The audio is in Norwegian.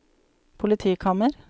politikammer